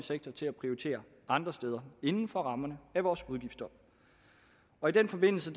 sektor til at prioritere andre steder inden for rammerne af vores udgifter og i den forbindelse